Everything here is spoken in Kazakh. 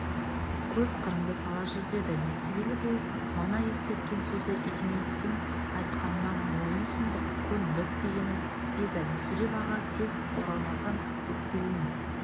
көз қырыңды сала жүр деді несібелі бұл мана ескерткен сөзі есенейдің айтқанына мойын сұндық көндік дегені еді мүсіреп аға тез оралмасаң өкпелеймін